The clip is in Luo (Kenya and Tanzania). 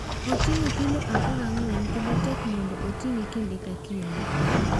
Oting’o kilo 14 kendo tek mondo oting’e kinde ka kinde.